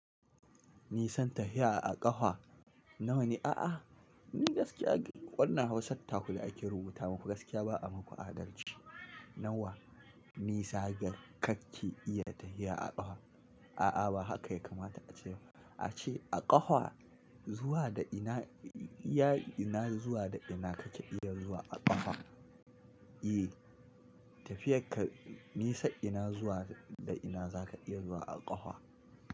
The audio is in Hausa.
Nisan tafiya a ƙafa nawa ne? A'a, ni gaskiya wannan Hausa takule ake rubuta muku, gaskiya ba a muku adalci. Nawa nisa ga kake iya tafiya a ƙafa? A'a ba haka ya kamata a ce ba, a ce a ƙafa zuwa da ina, ya ina zuwa da ina kake iya zuwa a ƙafa? E, tafiyar ka nisa ina zuwa da ina za ka iya zuwa a ƙafa.